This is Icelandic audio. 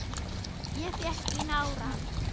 Ég fékk í nárann.